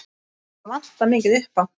Það vantar mikið upp á.